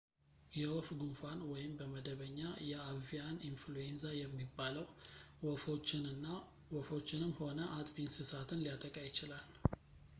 የወፍ ጉንፋን ወይም በመደበኛ የአቪያን ኢንፍሉዌንዛ የሚባለው ወፎችንም ሆነ አጥቢ እንስሳትን ሊያጠቃ ይችላል